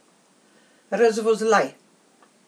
Razvozlaj!